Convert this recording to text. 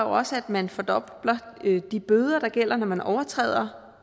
også at man fordobler de bøder der gælder når man overtræder